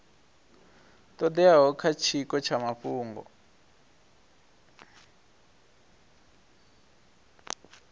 todeaho kha tshiko tsha mafhungo